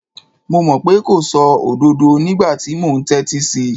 Mo mọ̀ pé kò sọ òdodo nígbà tí mo ń tẹ́tí sí í.